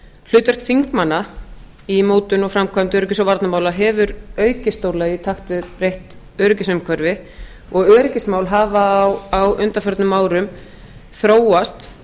hlutverk þingmanna í mótun og framkvæmd öryggis og varnarmála hefur aukist stórlega í takt við breytt öryggisumhverfi og öryggismál hafa á undanförnum árum þróast